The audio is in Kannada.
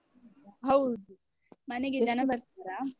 ಹೌದು. ಮನೆಗೆ ಜನ ಬರ್ತಾರಾ?